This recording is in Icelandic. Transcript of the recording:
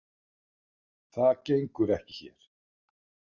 Það gengur ekki hér.